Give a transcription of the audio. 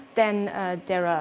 en betra